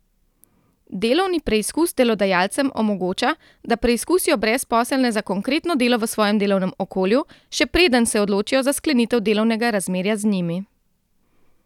Delovni preizkus delodajalcem omogoča, da preizkusijo brezposelne za konkretno delo v svojem delovnem okolju, še preden se odločijo za sklenitev delovnega razmerja z njimi.